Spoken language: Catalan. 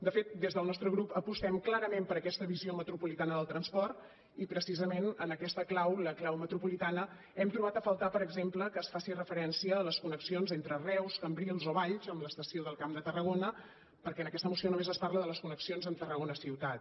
de fet des del nostre grup apostem clarament per aquesta visió metropolitana del transport i precisament en aquesta clau la clau metropolitana hem trobat a faltar per exemple que es faci referència a les connexions entre reus cambrils o valls amb l’estació del camp de tarragona perquè en aquesta moció només es parla de les connexions amb tarragona ciutat